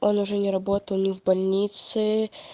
он уже не работал ни в больнице